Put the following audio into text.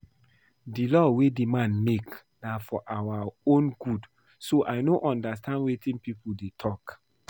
The law wey the man make na for our own good so I no understand wetin people dey talk